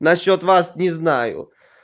насчёт вас не знаю